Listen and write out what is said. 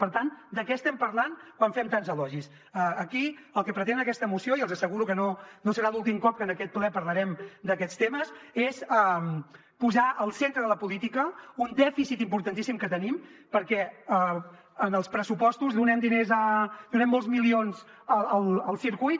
per tant de què estem parlant quan fem tants elogis aquí el que pretén aquesta moció i els asseguro que no serà l’últim cop que en aquest ple parlarem d’aquests temes és posar al centre de la política un dèficit importantíssim que tenim perquè en els pressupostos donem diners donem molts milions al circuit